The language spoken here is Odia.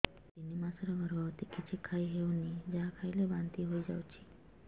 ମୁଁ ତିନି ମାସର ଗର୍ଭବତୀ କିଛି ଖାଇ ହେଉନି ଯାହା ଖାଇଲେ ବାନ୍ତି ହୋଇଯାଉଛି